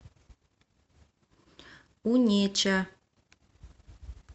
унеча